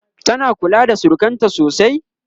tana kula da surukanta sosai?